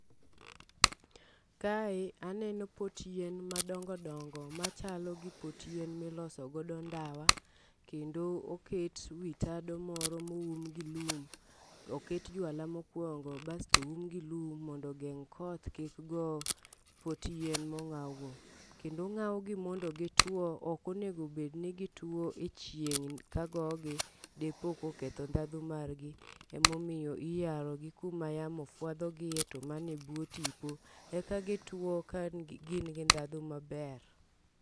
Kae aneno pot yien madongo dongo machalo gi pot yien miloso godo ndawa. Kendo oket wi tado moro moum gi lum oket jwala mokwongo basto oum gi lum mondo ogeng' koth kik go pot yien mong'aw go. Kendo ong'aw gi mondo gitwo ok onego bed ni gitwo e chieng' kagogi, dipo ka oketho ndhadhu margi. Emomiyo iyaro gi kama yamo fwadho gie to mane bwo tipo eka gituo ka gin gi ndhadhu maber.